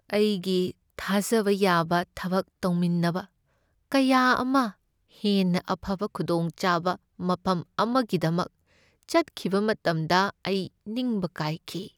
ꯑꯩꯒꯤ ꯊꯥꯖꯕ ꯌꯥꯕ ꯊꯕꯛ ꯇꯧꯃꯤꯟꯅꯕ ꯀꯌꯥ ꯑꯃ ꯍꯦꯟꯅ ꯑꯐꯕ ꯈꯨꯗꯣꯡꯆꯥꯕ ꯃꯐꯝ ꯑꯃꯒꯤꯗꯃꯛ ꯆꯠꯈꯤꯕ ꯃꯇꯝꯗ ꯑꯩ ꯅꯤꯡꯕ ꯀꯥꯏꯈꯤ ꯫